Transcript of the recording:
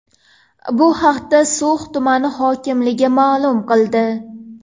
Bu haqda So‘x tumani hokimligi ma’lum qildi .